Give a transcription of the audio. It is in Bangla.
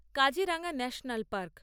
Kaziranga national park